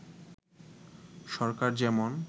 সরকার যেমন